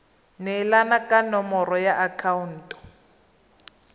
neelana ka nomoro ya akhaonto